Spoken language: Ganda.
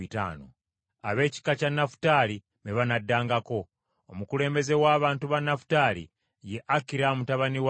Ab’ekika kya Nafutaali be banaddangako. Omukulembeze w’abantu ba Nafutaali ye Akira mutabani wa Enani.